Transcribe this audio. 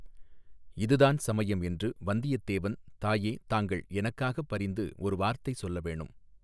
இதுதான் சமயம் என்று வந்தியத் தேவன் தாயே தாங்கள் எனக்காகப் பரிந்து ஒரு வார்த்தை சொல்லவேணும்.